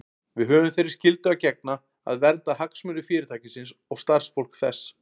Við höfum þeirri skyldu að gegna að vernda hagsmuni Fyrirtækisins og starfsfólks þess.